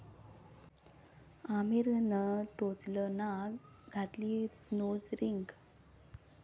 आमिरनं टोचलं नाक, घातली नोज रिंग